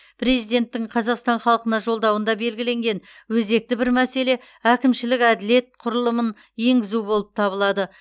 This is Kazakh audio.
президенттің қазақстан халқына жолдауында белгіленген өзекті бір мәселе әкімшілік әділет құрылымын енгізу болып табылады